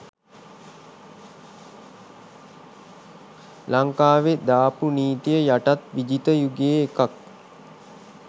ලංකාවෙ දාපු නීතිය යටත් විජිත යුගේ එකක්